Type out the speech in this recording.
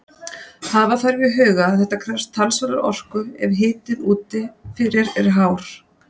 Hafa þarf í huga að þetta krefst talsverðrar orku ef hitinn úti fyrir er hár.